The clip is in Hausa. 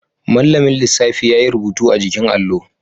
Mallamin lissafi yayi rubutu a jikin allo